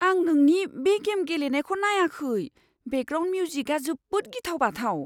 आं नोंनि बे गेम गेलेनायखौ नायाखै। बेकग्राउन्ड मिउजिका जोबोद गिथाव बाथाव!